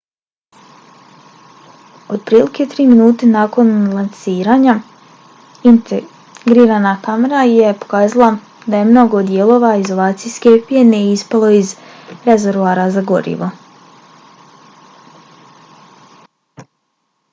otprilike tri minute nakon lansiranja integrirana kamera je pokazala da je mnogo dijelova izolacijske pjene ispalo iz rezervoara za gorivo